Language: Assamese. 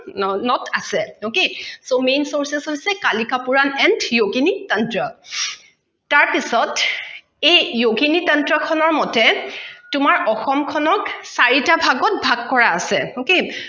okay so main sources হৈছে kalika purana and yogini tantra তাৰ পিছত এই yogini tantra মতে তোমাৰ অসম খনক চাৰিতা ভাগত কৰা আছে okay